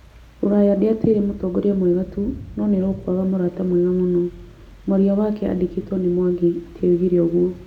Rũraya ndĩateire mũtongoria mwega tu, no nĩ rũkwaga mũrata mwega mũno. Mwaria wake andĩkĩtwo nĩ Mwangi atĩ oigire ũguo.